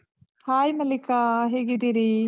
Hai Mallika, ಹೇಗಿದ್ದೀರಿ?